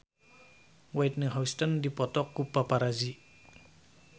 Whitney Houston dipoto ku paparazi